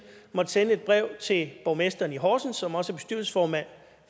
måtte sende et brev til borgmesteren i horsens som også er bestyrelsesformand